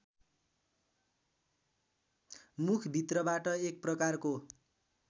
मुखभित्रबाट एक प्रकारको